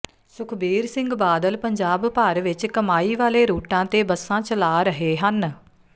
ਸੁਖਬੀਰ ਸਿੰਘ ਬਾਦਲ ਪੰਜਾਬ ਭਰ ਵਿਚ ਕਮਾਈ ਵਾਲੇ ਰੂਟਾਂ ਤੇ ਬੱਸਾਂ ਚਲਾ ਰਹੇ ਹਨ